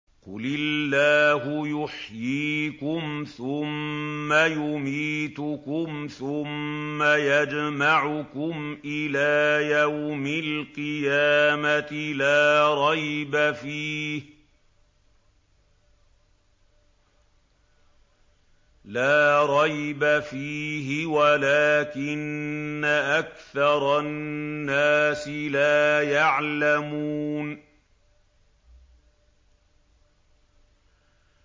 قُلِ اللَّهُ يُحْيِيكُمْ ثُمَّ يُمِيتُكُمْ ثُمَّ يَجْمَعُكُمْ إِلَىٰ يَوْمِ الْقِيَامَةِ لَا رَيْبَ فِيهِ وَلَٰكِنَّ أَكْثَرَ النَّاسِ لَا يَعْلَمُونَ